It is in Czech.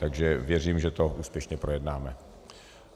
Takže věřím, že to úspěšně projednáme.